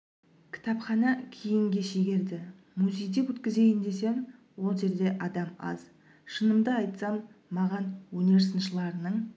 кітапхана кейінге шегерді музейде өткізейін десем ол жерде адам аз шынымды айтсам маған өнер сыншыларының